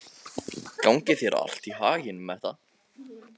Gangi þér allt í haginn, Metta.